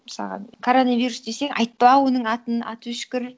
мысалға коронавирус десе айтпа оның атын аты өшкір